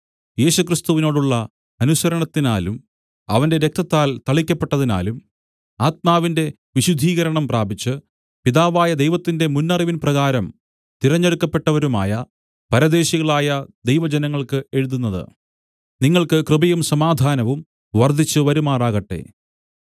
യേശുക്രിസ്തുവിനോടുള്ള അനുസരണത്തിനാലും അവന്റെ രക്തത്താൽ തളിക്കപ്പെട്ടതിനാലും ആത്മാവിന്റെ വിശുദ്ധീകരണം പ്രാപിച്ച് പിതാവായ ദൈവത്തിന്റെ മുന്നറിവിൻ പ്രകാരം തിരഞ്ഞെടുക്കപ്പെട്ടവരുമായ പരദേശികളായ ദൈവജനങ്ങള്‍ക്ക് എഴുതുന്നത് നിങ്ങൾക്ക് കൃപയും സമാധാനവും വർദ്ധിച്ച് വരുമാറാകട്ടെ